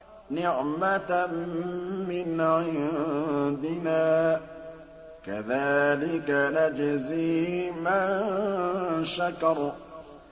نِّعْمَةً مِّنْ عِندِنَا ۚ كَذَٰلِكَ نَجْزِي مَن شَكَرَ